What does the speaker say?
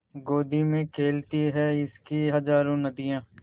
गोदी में खेलती हैं इसकी हज़ारों नदियाँ